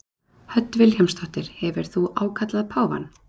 Hödd Vilhjálmsdóttir: Hefur þú ákallað páfann?